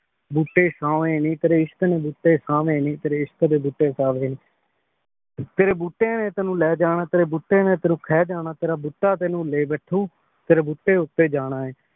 ਬੋਤੇ ਸਵੇ ਨੀ ਤੇਰੀ ਇਸ਼ਕ਼ ਦੇ ਬੋਤੇ ਸਵੇ ਨੀ ਤੇਰੀ ਇਸ਼ਕ਼ ਦੇ ਬੋਤੇ ਸਵੇ ਨੀ ਤੇਰੀ ਬੋਤੇ ਨੇ ਤੇਨੁ ਲੇ ਜਾਣਾ ਤੇਰੀ ਬੋਤੇ ਨੇ ਤੇਨੁ ਖੀ ਜਾਣਾ ਤੇਰਾ ਬੋਤਾ ਤੇਨੁ ਲੇ ਬੈਠੁ ਤੇਰੀ ਬੋਤੇ ਊਟੀ ਜਾਣਾ ਆਯ